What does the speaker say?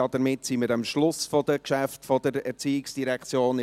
Damit sind wir am Schluss der Geschäfte der ERZ angelangt.